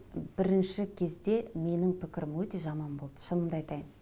бірінші кезде менің пікірім өте жаман болды шынымды айтайын